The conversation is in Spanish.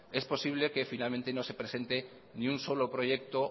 es posible que finalmente no se presente ni un solo proyecto